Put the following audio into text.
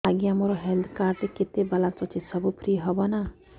ଆଜ୍ଞା ମୋ health card ରେ କେତେ ବାଲାନ୍ସ ଅଛି ସବୁ ଫ୍ରି ହବ ନାଁ